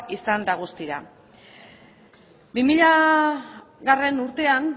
izan da guztira bi milagarrena urtean